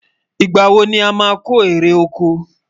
ìgbà wò ní a má kò eré okò?